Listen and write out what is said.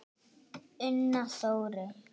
Una Þórey.